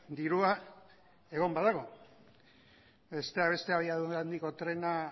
dirua egon badago besteak beste abiadura handiko trena